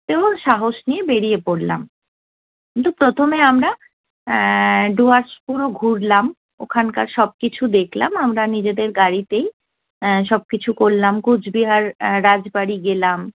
সাহস নিয়ে বেড়িয়ে পড়লাম। কিন্তু প্রথমে আমরা এ্যা ডুয়ার্টস পুরো ঘুরলাম ওখানকার সব কিছু দেখলাম আমরা নিজেদের গাড়িতেই সব কিছু করলাম কোচবিহার রাজবাড়ি গেলাম।